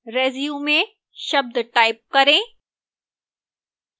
resume शब्द type करें